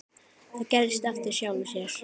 Það gerist af sjálfu sér.